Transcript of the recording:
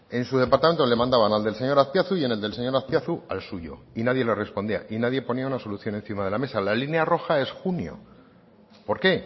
en su departamento le mandaban al del señor azpiazu y en el del señor azpiazu al suyo y nadie le respondía y nadie ponía una solución encima de mesa la línea roja es junio por qué